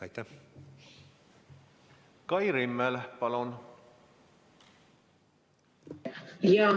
Kai Rimmel, palun!